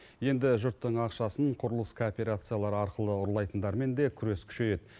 енді жұрттың ақшасын құрылыс кооперациялары арқылы ұрлайтындармен де күрес күшейеді